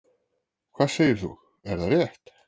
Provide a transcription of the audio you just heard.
Hvað segir þú, er það rétt?